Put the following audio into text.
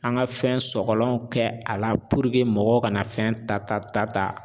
An ka fɛn sɔgɔlanw kɛ a la puruke mɔgɔw kana fɛn ta ta ta.